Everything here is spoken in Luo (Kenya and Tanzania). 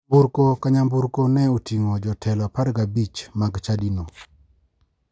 Nyanburko ka nyamburko ne oting'o jotelo 15 mag chadino.